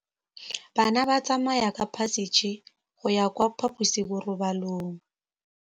Bana ba tsamaya ka phašitshe go ya kwa phaposiborobalong.